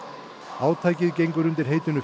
átakið gengur undir heitinu